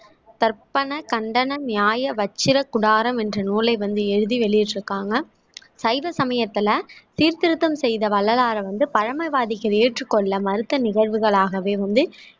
தர்ப்பண கண்டன நியாய வச்சிர கூடாரம் என்ற நூலை வந்து எழுதி வெளியிட்டிருக்காங்க சைவ சமயத்துல சீர்திருத்தம் செய்த வள்ளலாரை வந்து பழமைவாதிகள் ஏற்றுக்கொள்ள மறுத்த நிகழ்வுகளாகவே வந்து